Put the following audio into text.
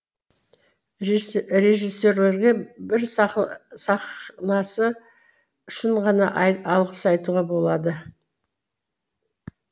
режиссерге бір сахнасы үшін ғана алғыс айтуға болады